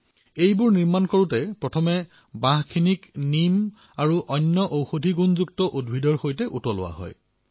ইয়াক প্ৰস্তুত কৰাৰ সময়ত প্ৰথমে নীম আৰু অন্য ঔষধীয় পদাৰ্থসমূহৰ সৈতে উতলোৱা হয়